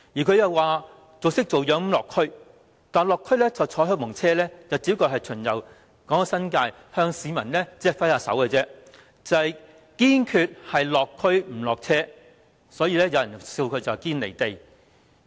她裝模作樣地落區，只坐在開蓬車上巡遊港九新界，向市民揮手，堅決"落區不落車"，所以有人取笑她"堅離地"。